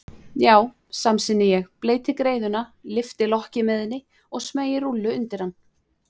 Já, samsinni ég, bleyti greiðuna, lyfti lokki með henni og smeygi rúllu undir hann.